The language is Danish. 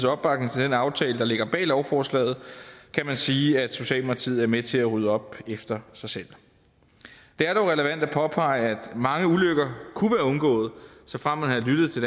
opbakning til den aftale der ligger bag lovforslaget kan man sige at socialdemokratiet er med til at rydde op efter sig selv det er dog relevant at påpege at mange ulykker kunne være undgået såfremt man havde lyttet til